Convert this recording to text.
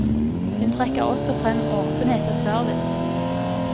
Hun trekker også frem åpenhet og service.